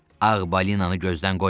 Ağ balinanı gözdən qoymayın.